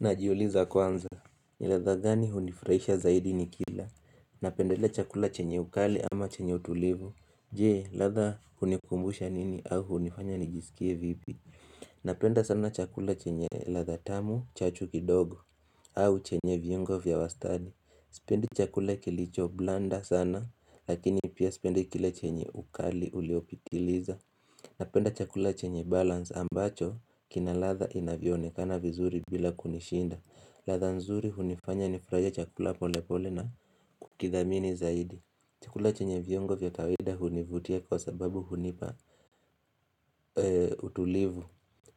Najiuliza kwanza Niladha gani hunifrahisha zaidi nikila. Napendelea chakula chenye ukali ama chenye utulivu. Je, latha unikumbusha nini au hunifanya nijisikie vipi. Napenda sana chakula chenye lathatamu, chachu kidogo. Au chenye vyungo vya wastani Spendi chakula kilicho blanda sana Lakini pia spendi kila chenye ukali uliopitiliza. Napenda chakula chenye balance ambacho kina latha inavionekana vizuri bila kunishinda latha nzuri hunifanya nifraja chakula pole pole na kukidhamini zaidi chakula chenye viongo vya kaweda hunivutia kwa sababu hunipa. Utulivu